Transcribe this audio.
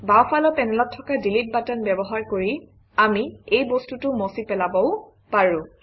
বাওঁফালৰ পেনেলত থকা ডিলিট বাটন ব্যৱহাৰ কৰি আমি এই বস্তুটো মচি পেলাবও পাৰোঁ